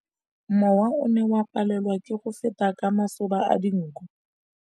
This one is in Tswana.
Mowa o ne o palelwa ke go feta ka masoba a dinko.